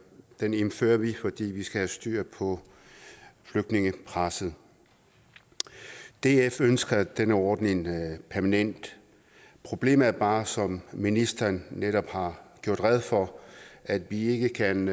den indfører vi fordi vi skal have styr på flygtningepresset df ønsker denne ordning permanent problemet er bare som ministeren netop har gjort rede for at vi ikke kan